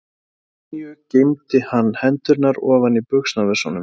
Að venju geymdi hann hendurnar ofan í buxnavösunum.